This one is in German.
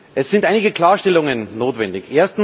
Es sind einige Klarstellungen notwendig.